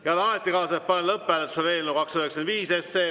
Head ametikaaslased, panen lõpphääletusele eelnõu 295.